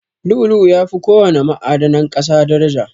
Lu'u-lu'u yafi ko wana ma'adanan ƙasa daraja.